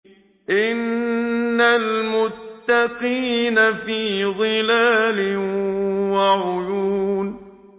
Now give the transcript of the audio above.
إِنَّ الْمُتَّقِينَ فِي ظِلَالٍ وَعُيُونٍ